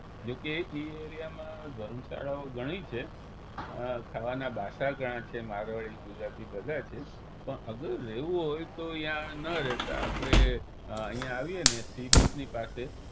જો કે એ area માં ધર્મશાળાઓ ઘણી છે ખાવાના પાસા ઘણાં છે મારવાડી ગુજરાતી બધા છે પણ અગર રહેવું હોઈ તો ઈયા ન રહેતા આપણે ઈયા આવીએ ને sea beach ની પાસે